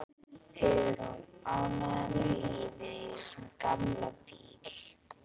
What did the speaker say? Hugrún: Ánægður með lífið í þessum gamla bíl?